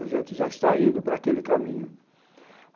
A gente já está indo para aquele caminho.